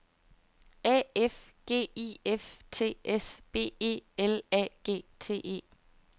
A F G I F T S B E L A G T E